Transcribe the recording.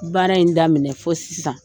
Baara in daminɛ fo sisan.